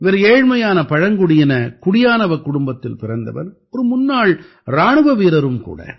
இவர் ஏழ்மையான பழங்குடியின குடியானவக் குடும்பத்தில் பிறந்தவர் ஒரு முன்னாள் இராணுவ வீரரும் கூட